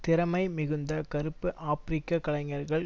திறமை மிகுந்த கறுப்பு ஆபிரிக்க கலைஞர்கள்